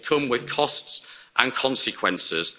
It will come with costs and consequences.